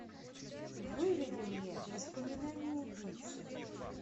выведи мне воспоминание убийцы